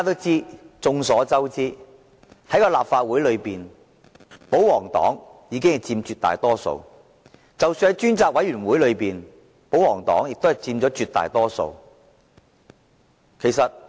眾所周知，在立法會內，保皇黨佔絕大多數，在專責委員會內，保皇黨亦佔絕大多數。